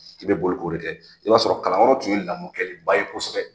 I bɛ boli k'o de kɛ, i b'a sɔrɔ kalanyɔrɔ tun ye lamɔkɛliba ye kosɛbɛ.